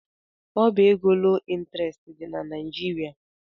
Ọbá égo loo ịntrestị dị na Naịjirịa.